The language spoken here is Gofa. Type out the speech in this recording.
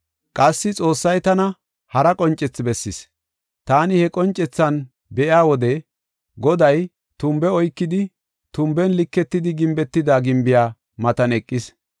Qassi Xoossay tana hara qoncethi bessis. Taani he qoncethan be7iya wode, Goday tumbe oykidi, tumben liketidi gimbetida gimbiya matan eqis.